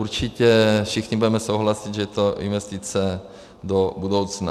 Určitě všichni budeme souhlasit, že je to investice do budoucna.